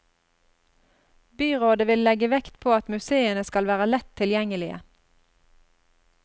Byrådet vil legge vekt på at museene skal være lett tilgjengelige.